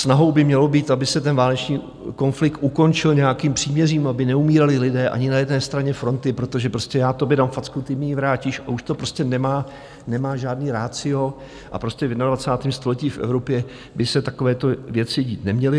Snahou by mělo být, aby se ten válečný konflikt ukončil nějakým příměřím, aby neumírali lidé ani na jedné straně fronty, protože prostě já tobě dám facku, ty mi ji vrátíš, a už to prostě nemá žádné ratio, a prostě v 21. století v Evropě by se takovéto věci dít neměly.